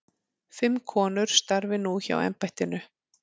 Fimm konur starfi nú hjá embættinu.